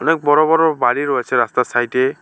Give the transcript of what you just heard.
অনেক বড়ো বড়ো বাড়ি রয়েছে রাস্তার সাইডে।